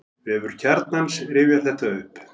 Vefur Kjarnans rifjar þetta upp.